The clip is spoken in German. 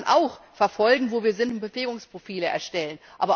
Darüber kann man auch verfolgen, wo wir sind, und Bewegungsprofile erstellen.